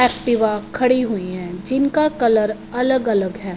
Activa खड़ी हुईं हैं जिनका कलर अलग अलग हैं।